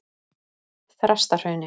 Þrastahrauni